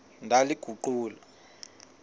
ndaliguqula